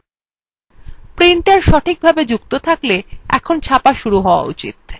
printer সঠিকভাবে যুক্ত থাকলে ছাপা শুরু হয়ে যাওয়া উচিত